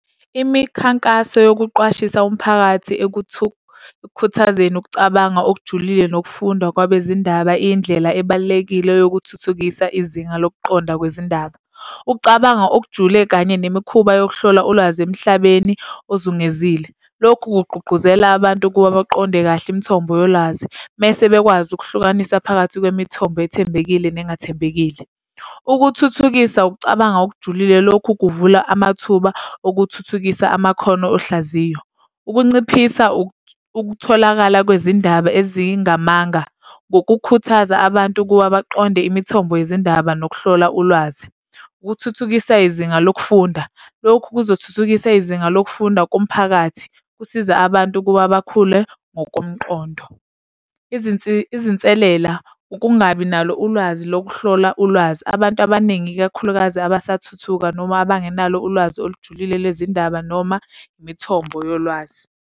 Imikhankaso yokuqwashisa umphakathi ekukhuthazeni ukucabanga okujulile nokufunda kwabezindaba, iyindlela ebalulekile yokuthuthukisa izinga lokuqonda kwezindaba. Ukucabanga okujule kanye nemikhuba yokuhlola ulwazi emhlabeni ozungezile. Lokhu kugqugquzela abantu ukuba baqonde kahle imithombo yolwazi, mese bekwazi ukuhlukanisa phakathi kwemithombo ethembekile nengathembekile. Ukuthuthukisa ukucabanga okujulile. Lokhu kuvula amathuba okuthuthukisa amakhono ohlaziyo. Ukunciphisa ukutholakala kwezindaba ezingamanga ngokukhuthaza abantu ukuba baqonde imithombo yezindaba nokuhlola ulwazi. Ukuthuthukisa izinga lokufunda. Lokhu kuzothuthukisa izinga lokufunda komphakathi, kusiza abantu ukuba bakhule ngokomqondo. Izinselela ukungabi nalo ulwazi lokuhlola ulwazi, abantu abaningi ikakhulukazi abasathuthuka noma abangenalo ulwazi olujulile lezindaba noma imithombo yolwazi.